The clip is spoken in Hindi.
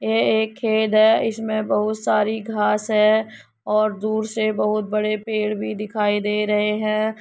यह एक खेत है इसमें बहुत सारी घाँस है और दूर से बहुत बड़े पेड़ भी दिखाई दे रहे हैं।